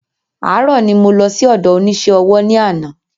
Àárò ni mo lọ sí ọ̀dọ onísé ọwọ́ ní ana